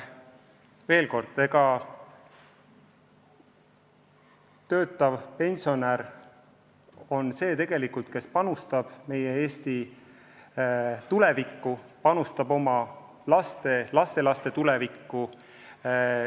Ja veel kord, töötav pensionär tegelikult panustab meie Eesti tulevikku, panustab oma laste ja lastelaste tulevikku.